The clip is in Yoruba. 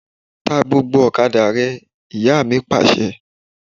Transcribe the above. Ta gbógbó ọ̀kadà rẹ! Ìyá mi Pàṣẹ.